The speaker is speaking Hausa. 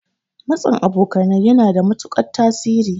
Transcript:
Matsin abokanai yana da matuƙan tasiri.